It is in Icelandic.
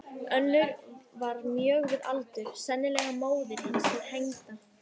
Önnur var mjög við aldur, sennilega móðir hins hengda.